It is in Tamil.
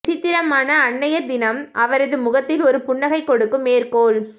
விசித்திரமான அன்னையர் தினம் அவரது முகத்தில் ஒரு புன்னகை கொடுக்கும் மேற்கோள்